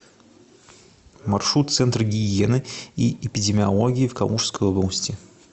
маршрут центр гигиены и эпидемиологии в калужской области